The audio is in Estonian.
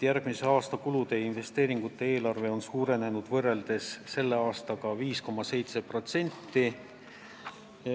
Järgmise aasta kulude ja investeeringute eelarve on võrreldes selle aastaga 5,7% suurenenud.